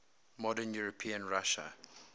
modern european russia